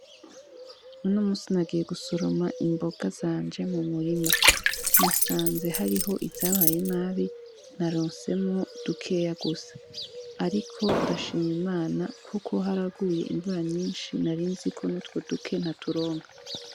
Uno musi nagiye gusuroma imboga zanje mu murima, nasanze hariho izabaye nabi na ronsemwo dukeya gusa, ariko ndashima imana, kuko haraguye imvura nyinshi narinziko nutwo duke nta turonka.